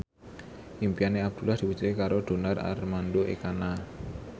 impine Abdullah diwujudke karo Donar Armando Ekana